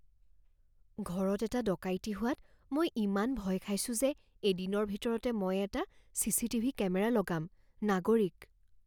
ঘৰত এটা ডকাইতি হোৱাত মই ইমান ভয় খাইছোঁ যে এদিনৰ ভিতৰতে মই এটা C C T V camera লগাম। নাগৰিক